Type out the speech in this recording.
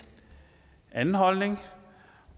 anden holdning